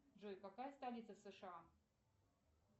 джой какая столица в сша